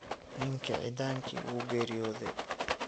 Ninki cidanki wuu geryodhe.